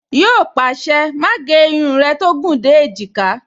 Yíò pàṣẹ, "Má gé irun rẹ tó gùn dé èjìká"